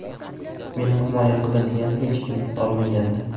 Meni himoya qiladigan hech kim qolmagandi.